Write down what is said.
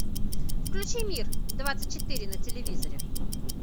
включи мир двадцать четыре на телевизоре